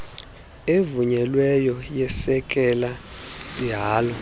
evunyelweyo yesekela sihalo